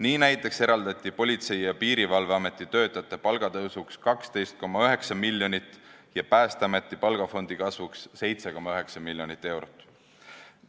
Nii näiteks eraldati Politsei- ja Piirivalveametite töötajate palga tõstmiseks 12,9 miljonit eurot ja Päästeameti palgafondi kasvuks 7,9 miljonit eurot.